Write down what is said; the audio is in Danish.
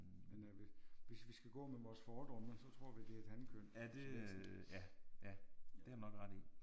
Men øh hvis vi skal gå med vores fordomme så tror vi det er et hankønsvæsen